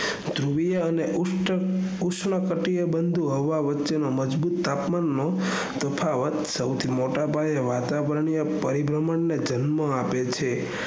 ધ્રુવીય અને ઉષ્ણ કટિયા બંધુ હવા વચ્ચેનો મજબૂત તાપમાન વચ્ચેનો તફાવત સૌથી મોટા પાયે વાતાવરીનીય પરિબ્રહ્મણ ને જન્મ આપે છે